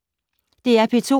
DR P2